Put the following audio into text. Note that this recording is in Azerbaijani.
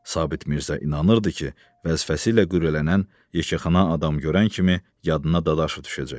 Sabit Mirzə inanırdı ki, vəzifəsi ilə qürrələnən yekəxana adam görən kimi yadına Dadaşov düşəcək.